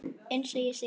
Eins og ég segi.